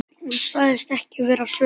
Hún sagðist ekki vera svöng.